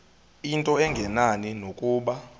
into engenani nokuba